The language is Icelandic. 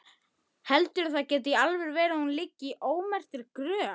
Handa fjórum til fimm